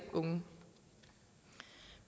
unge